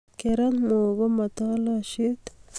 kerat mok komo tolosiet